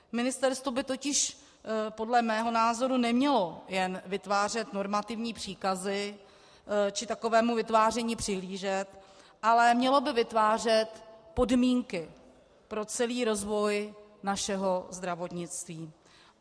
Ministerstvo by totiž podle mého názoru nemělo jen vytvářet normativní příkazy či takovému vytváření přihlížet, ale mělo by vytvářet podmínky pro celý rozvoj našeho zdravotnictví.